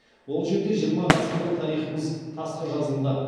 ол жерде жиырма ғасырлық тарихымыз тасқа жазылды